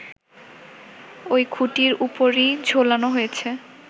ওই খুঁটির ওপরই ঝোলানো হয়েছে